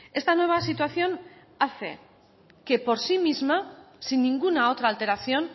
esta nueva situación hace que por sí misma sin ninguna otra alteración